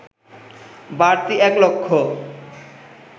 বাড়তি এক লক্ষ